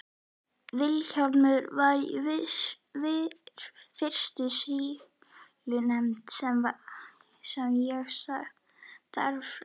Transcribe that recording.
Vilhjálmur var í fyrstu sýslunefndinni sem ég starfaði með.